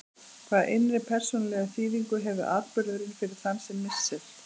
Hvaða innri persónulegu þýðingu hefur atburðurinn fyrir þann sem missir?